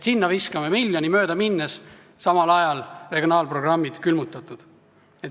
Sinna viskame miljoni möödaminnes, samal ajal on regionaalprogrammid külmutatud.